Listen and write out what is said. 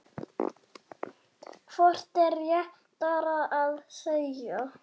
Hvort er réttara að segja